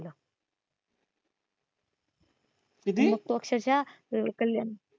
किती मग तो अक्षरशः कल्याण